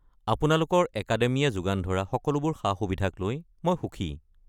আপোনালোকৰ একাডেমিয়ে যোগান ধৰা সকলোবোৰ সা-সুবিধাক লৈ মই সুখী।